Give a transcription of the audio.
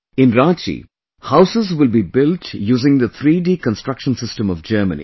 In Ranchi houses will be built using the 3D Construction System of Germany